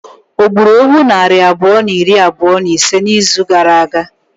O gburu ewu nari abụọ na iri abụọ na ise n'izu gara aga?